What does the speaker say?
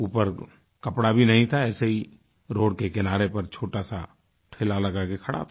ऊपर कपड़ा भी नहीं था ऐसे ही रोड के किनारे पर छोटा साठेला लगा के खड़ा था